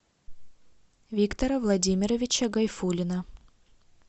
виктора владимировича гайфуллина